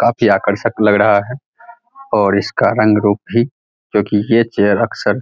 काफी आकर्षक लग रहा है और इसका रंग रूप भी क्योंकि यह चेयर अक्सर